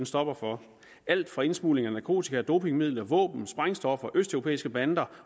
stopper for alt fra indsmugling af narkotika dopingmidler våben sprængstoffer østeuropæiske bander